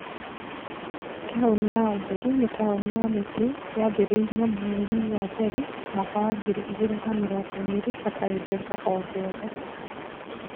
#Taũni ya ũtheri nĩ taũni ya mĩtĩ yambĩrĩirio mweri wambere mwaka wa ngiri igĩrĩ na mĩrongo ĩrĩ hatarĩ mbeca o-gĩothe.